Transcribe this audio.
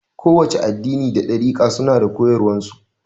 Kowace addini da ɗarika suna da koyaswan su